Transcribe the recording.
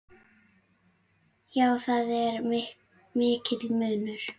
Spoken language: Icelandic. Já, það er mikill munur.